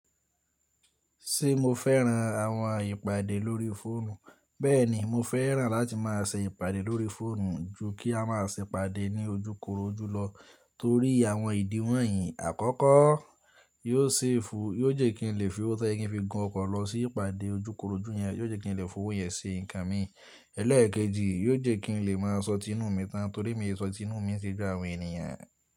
Ṣé mo fẹ́ran àwọn ìpàdé lórí fóònù? Bẹ́ẹ̀ni, mo fẹ́ràn láti má a ṣe ìpàdé lórí fóònù ju kí a má a ṣe ìpàdé ní ojúkorojú lọ torí àwọn ìdí wọ̀nyí: Àkọ́kọ́, yóò ṣefu-- yóò jẹ́ kí n lè fi owó tó yẹ kín fi gun ọkọ̀ lọ sí ìpàdé ojúkorojú yẹn. Yóò jẹ́ kí n lè fi owó yẹn se nǹkan mi. Ẹlẹ́ẹ̀kejì, yóò jẹ́ kí n lè má a sọ tí inú mi tán torí mi e sọ tí inú mi ṣe ju àwọn ènìyàn.